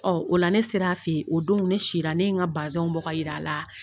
Ɔ o la ne sera a fɛ yen o don ne sira ne ye n ka bazɛnw bɔ ka jira a la